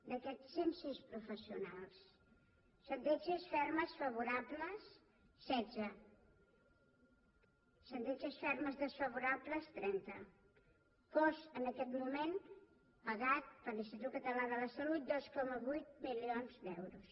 d’aquests cent sis professionals sentències fermes favorables setze sentències fermes desfavorables trenta cost en aquest moment pagat per l’institut català de la salut dos coma vuit milions d’euros